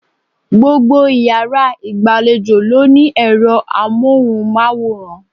Gbogbo iyàrá ìgbàlejò ló ní èro amóhùnmáwòrán